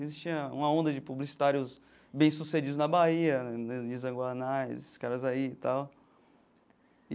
Existia uma onda de publicitários bem-sucedidos na Bahia, Nizan Guanaes, esses caras aí e tal.